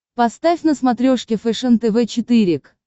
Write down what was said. поставь на смотрешке фэшен тв четыре к